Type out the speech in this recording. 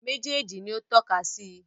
Méjèèjì ni ó tọ́ka sí i